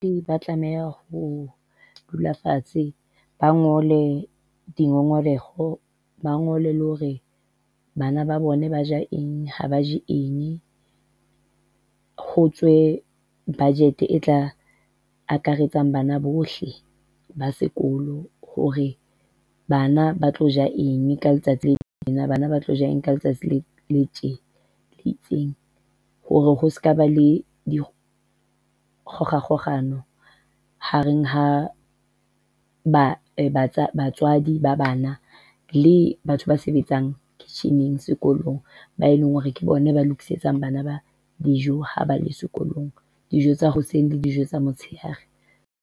Ba tlameha ho dula fatshe, ba ngole dingongoreho. Ba ngole le hore bana ba bone ba ja eng ha ba je eng. Ho tswe budget e tla akaretsang bana bohle ba sekolo, hore bana ba tlo ja eng ka letsatsi le tjena. Bana ba tlo ja eng ka letsatsi le le tjena itseng hore ho sekaba le dikgohakgohano hareng ha ba batswadi ba bana le batho ba sebetsang kitchen-eng sekolong, ba e leng hore ke bona ba lokisetsang bana ba dijo ha ba le sekolong, dijo tsa hoseng le dijo tsa motshehare.